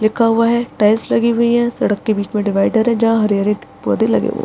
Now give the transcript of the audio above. लिखा हुआ है टाइल्स लगी हुई है सड़क के बीच में डिवाइडर है जहां हरी-हरी पौधे लगे --